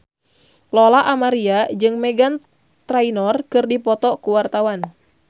Lola Amaria jeung Meghan Trainor keur dipoto ku wartawan